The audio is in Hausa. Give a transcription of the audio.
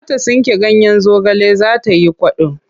Za ta tsinko ganyen zagale za ta yi kwaɗo.